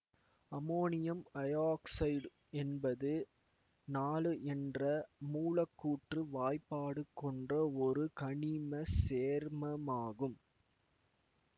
ammonium iodide என்பது நாலு என்ற மூலக்கூற்று வாய்ப்பாடு கொண்ட ஒரு கனிம சேர்மமாகும்